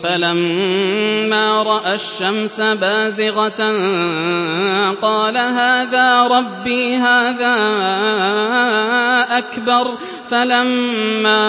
فَلَمَّا رَأَى الشَّمْسَ بَازِغَةً قَالَ هَٰذَا رَبِّي هَٰذَا أَكْبَرُ ۖ فَلَمَّا